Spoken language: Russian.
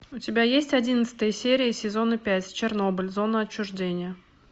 у тебя есть одиннадцатая серия сезона пять чернобыль зона отчуждения